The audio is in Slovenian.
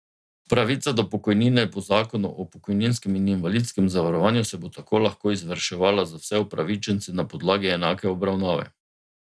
Pravica do pokojnine po zakonu o pokojninskem in invalidskem zavarovanju se bo tako lahko izvrševala za vse upravičence na podlagi enake obravnave.